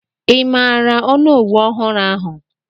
Ị maara onowu ọhụrụ ahụ?